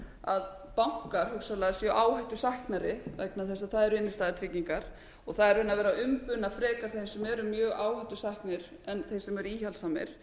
að bankar hugsanlega séu áhættusæknari vegna þess að það eru innstæðutryggingar og það er raunar verið að umbuna frekar þeim sem eru mjög áhættusæknir en þeim sem eru íhaldssamir